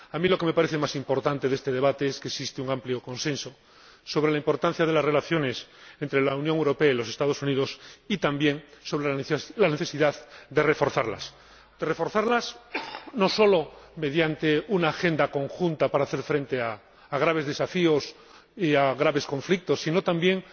A mí, lo que me parece más importante de este debate es que existe un amplio consenso sobre la importancia de las relaciones entre la Unión Europea y los Estados Unidos, y también sobre la necesidad de reforzarlas, no sólo mediante una agenda conjunta para hacer frente a graves desafíos y a graves conflictos, sino también